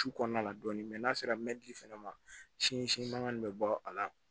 Su kɔnɔna dɔɔni n'a sera fɛnɛ ma sin si mankan bɛ bɔ a la